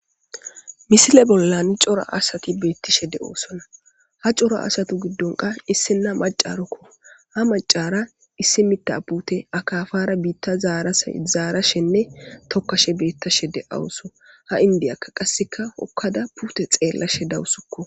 misile bollani cora asati beettishe de7oosona ha cora asatu giddonka issina macarukko ha macara issi mitta pute akafara biitta zarazaarashenne tokkashe beettashe de7awuso ha indiyakka qasseka hokkada puute xeellashe dawusukko